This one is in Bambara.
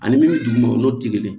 Ani min duguma o n'o tɛ kelen